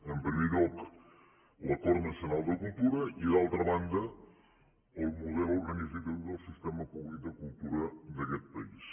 en primer lloc l’acord nacional de cultura i d’altra banda el model organitzatiu del sistema públic de cultura d’aquest país